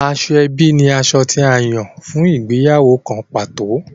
Asoebi ní aṣọ tí a Yàn fún ìgbéyàwó kán pàtó.